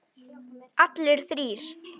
Allir þrír?